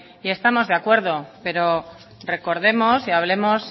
y estamos de acuerdo pero recordemos y hablemos